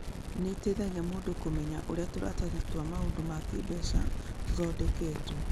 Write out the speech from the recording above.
Nĩ ĩteithagia mũndũ kũmenya ũrĩa tũratathi twa maũndũ ma kĩĩmbeca tũthondeketwo.